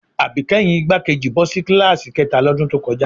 Àbíkẹ́yìn igbákejì bọ́ sí kíláàsì kẹ́ta lọ́dún tó kọjá